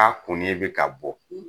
K'a kunni bi ka bɔ